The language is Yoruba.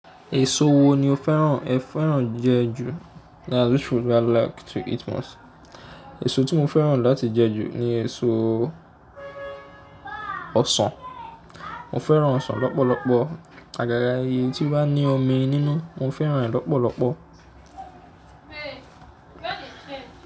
Èso wo ni o fẹ́ràn ẹ fẹ́ràn jẹ ju? Èso tí mo fẹ́ràn láti jẹ ju ni èso ọsàn. Mo fẹ́ràn ọsàn lọ́pọ̀lọpọ̀. Àgàgà ẹyì tí ó bá ní omi nínú mo fẹ́ràn rẹ̀ lọ́pọ̀lọpọ̀.